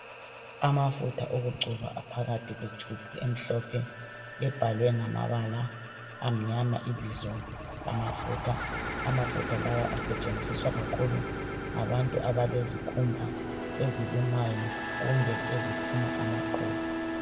Amafutha okugcoba aphakathi kwetshubhu emhlophe ebhalwe ngamabala amnyama ibizo lamafutha. Amafutha lawa asetshenziswa kakhulu ngabantu abalezikhumba ezilumayo kumbe eziphuma amaqubu.